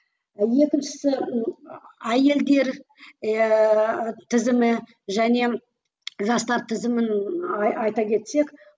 екіншісі әйелдер ііі тізімі және жастар тізімін айта кетсек